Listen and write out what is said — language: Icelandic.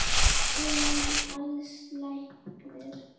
Emil Als læknir.